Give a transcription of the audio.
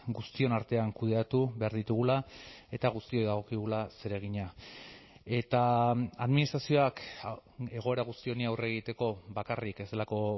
guztion artean kudeatu behar ditugula eta guztioi dagokigula zeregina eta administrazioak egoera guzti honi aurre egiteko bakarrik ez delako